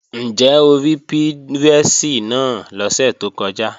Ǹjẹ́ o rí pírẹ́sì náà lọ́sẹ̀ tó kọjá?